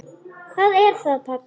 Hvað er það, pabbi?